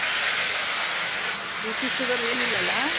BP Sugar ಏನಿಲ್ಲಾ ಅಲಾ.